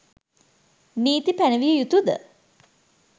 නීති පැනවිය යුතු ද?